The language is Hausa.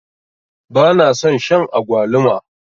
bana son Shan agwaluma